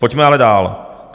Pojďme ale dál.